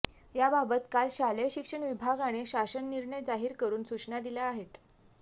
याबाबत काल शालेय शिक्षण विभागाने शासन निर्णय जाहीर करून सूचना दिल्या आहेत